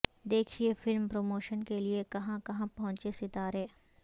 دیکھیے film promotion کے لیے کہاں کہاں پہنچے ستارے